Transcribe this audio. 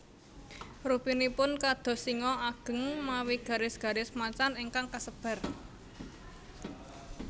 Rupinipun kados singa ageng mawi garis garis macan ingkang kasebar